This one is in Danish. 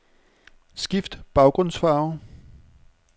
Skift baggrundsfarve.